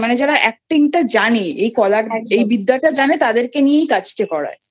মানে যারা actingটা জানে এই কলাবিদ্যা টা জানে তাদেরকেই নিয়েই কাজটা করায় একদমই